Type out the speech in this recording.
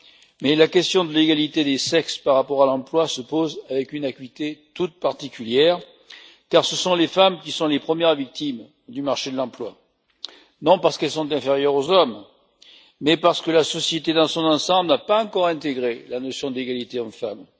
Mais la question de l'égalité des sexes par rapport à l'emploi se pose avec une acuité toute particulière, car ce sont les femmes qui sont les premières victimes du marché de l'emploi, non parce qu'elles sont inférieures aux hommes, mais parce que la société, dans son ensemble, n'a pas encore intégré la notion d'égalité hommes femmes.